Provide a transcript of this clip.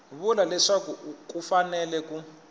vula leswaku ku fanele ku